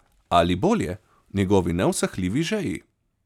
Ali, bolje, v njegovi neusahljivi žeji.